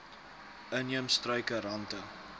inheemse struike rante